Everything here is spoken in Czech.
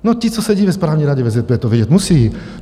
No, ti co sedí ve správní radě VZP, to vědět musí.